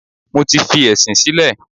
Mo ti fi ẹ̀sìn sílẹ̀.